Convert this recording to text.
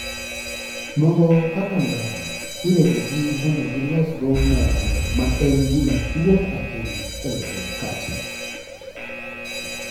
Mogo kaka ngano, iregogi mondo gilosgo mogo, ma en gima duong' ahinya e loso makate.